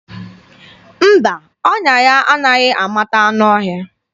Mba, ọnya ya anaghị amata anụ ọhịa.